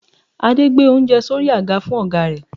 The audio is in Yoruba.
Adé gbé oúnjẹ sí orí àga fún ọ̀gá rẹ̀